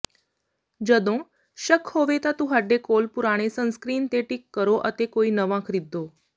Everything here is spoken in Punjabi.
ਜਦੋਂ ਸ਼ੱਕ ਹੋਵੇ ਤਾਂ ਤੁਹਾਡੇ ਕੋਲ ਪੁਰਾਣੇ ਸਨਸਕ੍ਰੀਨ ਤੇ ਟਿੱਕ ਕਰੋ ਅਤੇ ਕੋਈ ਨਵਾਂ ਖ਼ਰੀਦੋ